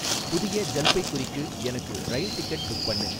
புதிய ஜல்பைகுரிக்கு எனக்கு ரயில் டிக்கெட் புக் பண்ணு